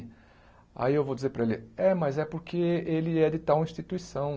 Aí eu vou dizer para ele, é, mas é porque ele é de tal instituição.